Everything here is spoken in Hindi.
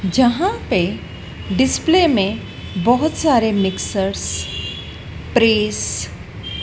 जहाँ पे डिस्प्ले में बहुत सारे मिक्सर्स प्रेस --